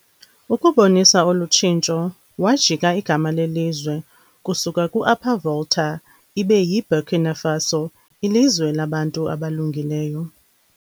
Ukubonisa olutshintsho wajika igama lelizwe kusuka ku Upper Volta ibe yi Burkina Faso ilizwe labantu abalungileyo.